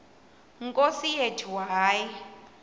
nkosi yethu hayi